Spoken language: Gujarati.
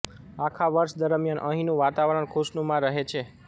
આખા વર્ષ દરમ્યાન અહીંનું વાતાવરણ ખુશનુમા રહે છે